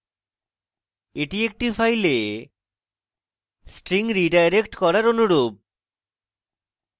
এটি একটি file string redirect করার অনুরূপ